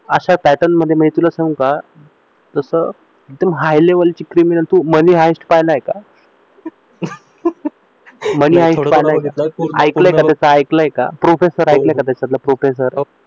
अशा पॅटर्नमध्ये मिळतील असं सांगू का जसं एकदम हाय लेव्हलचे परंतु मनी हायेस्ट पहिला आहे का मनी हायेस्ट पाहिला आहे का ऐकले का त्याचा प्रोकेसर ऐकले का प्रोकेसर त्याच्यातला